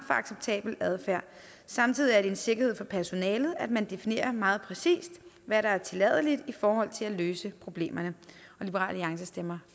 acceptabel adfærd samtidig er det en sikkerhed for personalet at man definerer meget præcist hvad der er tilladeligt i forhold til at løse problemerne liberal alliance stemmer